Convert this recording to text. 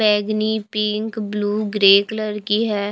बैंगनी pink blue grey colour की है।